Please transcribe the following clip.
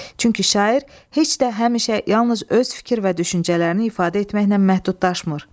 Çünki şair heç də həmişə yalnız öz fikir və düşüncələrini ifadə etməklə məhdudlaşmır.